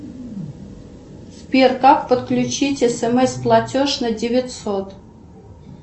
сбер как подключить смс платеж на девятьсот